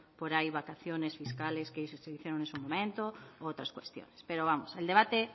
por ahí vacaciones fiscales que se hicieron en su momento u otras cuestiones pero vamos el debate